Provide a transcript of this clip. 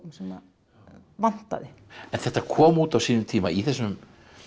sem að vantaði en þetta kom út á sínum tíma í þessum